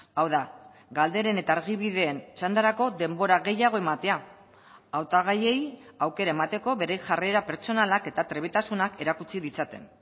hau da galderen eta argibideen txandarako denbora gehiago ematea hautagaiei aukera emateko bere jarrera pertsonalak eta trebetasunak erakutsi ditzaten